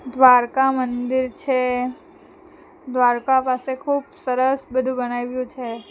દ્વારકા મંદિર છે દ્વારકા પાસે ખુબ સરસ બધું બનાવ્યું છે.